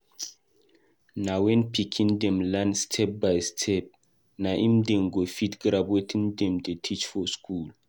Na wen pikin dem learn step-by-step na im dem go fit grab wetin dem dey teach for school.